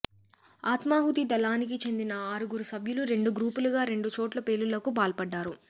ఆత్మాహుతి దళానికి చెందిన ఆరుగురు సభ్యులు రెండు గ్రూపులుగా రెండు చోట్ల పేలుళ్లకు పాల్పడ్డారు